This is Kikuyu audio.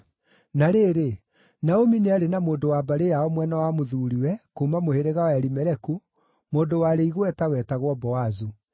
Na rĩrĩ, Naomi nĩarĩ na mũndũ wa mbarĩ yao mwena wa mũthuuriwe, kuuma mũhĩrĩga wa Elimeleku, mũndũ warĩ igweta, wetagwo Boazu.